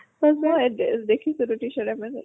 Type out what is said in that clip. না মই দেখিছো t-shirt amazon ত